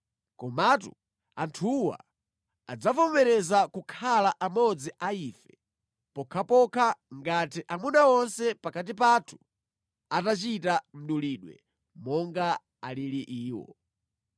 Komatu anthuwa adzavomereza kukhala amodzi a ife pokhapokha ngati amuna onse pakati pathu atachita mdulidwe monga alili iwo.